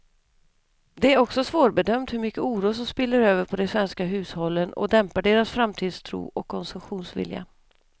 Det är också svårbedömt hur mycket oro som spiller över på de svenska hushållen och dämpar deras framtidstro och konsumtionsvilja.